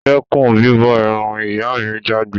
Dẹ́kun bíbọ eran! ìyá mi jágbé